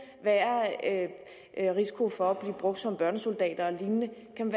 være en risiko for at blive brugt som børnesoldater eller lignende kan